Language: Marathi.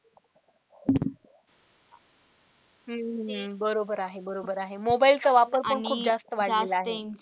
हम्म बरोबर आहे बरोबर आहे mobile चा वापर पण खूप जास्त वाढलेला आहे.